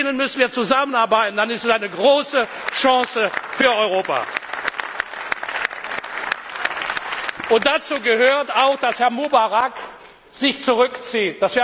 Mit denen müssen wir zusammenarbeiten, dann ist es eine große Chance für Europa! Und dazu gehört auch, dass Herr Mubarak sich zurückzieht.